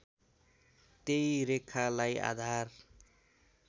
त्यही रेखालाई आधार